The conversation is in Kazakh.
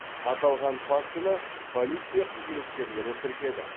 аталған фактіні полиция қызметкерлері тіркеді